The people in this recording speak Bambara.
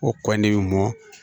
O kɔ ne bɛ mɔ